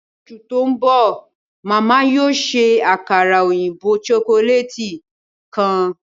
Ni oṣu ti nbọ, Màmá yóò ṣe àkàrà oyinbo chocolate kan.